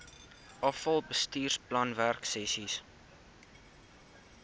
afal bestuursplan werksessies